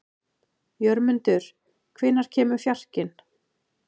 Jörmundur, hvenær kemur fjarkinn?